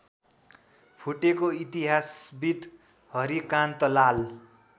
फुटेको इतिहासविद् हरिकान्तलाल